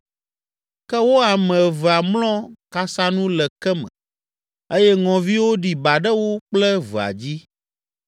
Ke wo ame evea mlɔ kasanu le ke me, eye ŋɔviwo ɖi ba ɖe wo kple evea dzi.